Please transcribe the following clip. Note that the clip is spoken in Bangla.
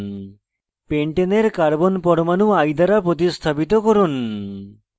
pentane carbon পরমাণু i দ্বারা প্রতিস্থাপিত করুন